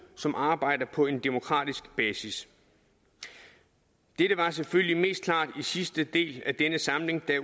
som arbejder på en demokratisk basis dette var selvfølgelig mest klart i sidste del af denne samling da